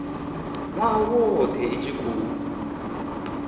nwaha wothe i tshi khou